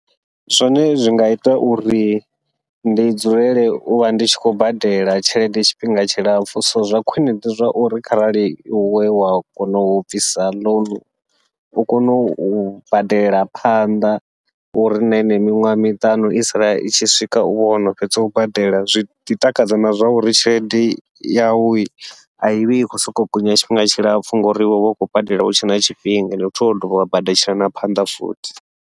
Zwone zwi nga ita uri ndi dzulele uvha ndi tshi khou badela tshelede tshifhinga tshilapfhu, so zwa khwiṋe ndi zwa uri kharali iwe wa kona u bvisa ḽounu u kone u badela phanḓa uri na henei miṅwaha miṱanu i sala i tshi swika u vha wono fhedza u badela. Zwiḓi takadza na zwa uri tshelede yawu aivhi i khou sokou gonya tshifhinga tshilapfhu, ngori uvha u khou badela hutshe na tshifhinga ende futhi wa dovha wa badeletshela na phanḓa futhi.